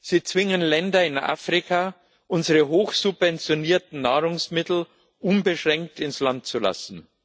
Sie zwingen Länder in Afrika, unsere hoch subventionierten Nahrungsmittel unbeschränkt ins Land zu lassen.